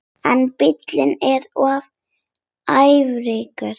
En bíllinn er of frægur.